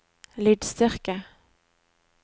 lydstyrke